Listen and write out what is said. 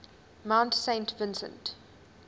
mount saint vincent